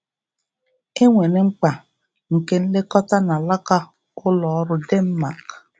E nwere mkpa nke nlekọta n’alaka ụlọ ọrụ Denmark